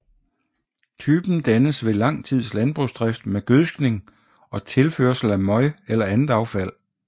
Typen dannes ved lang tids landbrugsdrift med gødskning og tilførsel af møg eller andet affald